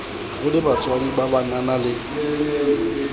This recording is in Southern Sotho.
re lebatswadi ba banabana le